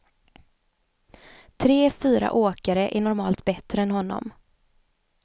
Tre, fyra åkare är normalt bättre än honom.